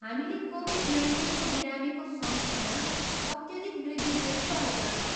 हामीले कोभिड नाइन्टिनको बिरामीको सङ्ख्यामा अत्यधिक वृद्धि देखिरहेका छौँ।